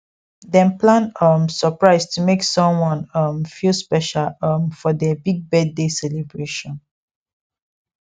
dem plan um surprise to make someone um feel special um for der big birthday celebration